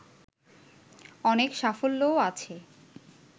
অনেক সাফল্যও আছে